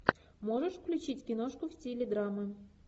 можешь включить киношку в стиле драма